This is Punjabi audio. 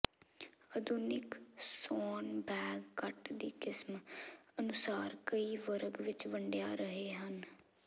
ਆਧੁਨਿਕ ਸੌਣ ਬੈਗ ਕੱਟ ਦੀ ਕਿਸਮ ਅਨੁਸਾਰ ਕਈ ਵਰਗ ਵਿੱਚ ਵੰਡਿਆ ਰਹੇ ਹਨ